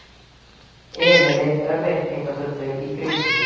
Emil leit örvæntingarfullur í kringum sig.